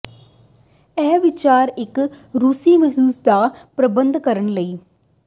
ਇਹ ਵਿਚਾਰ ਇੱਕ ਰੂਸੀ ਮੁਹਿੰਮ ਦਾ ਪ੍ਰਬੰਧ ਕਰਨ ਲਈ